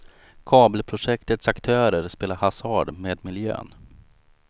Kabelprojektets aktörer spelar hasard med miljön.